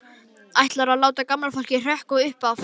Ætlarðu að láta gamla fólkið hrökkva upp af?